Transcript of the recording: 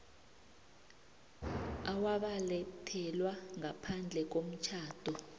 owabelethelwa ngaphandle komtjhado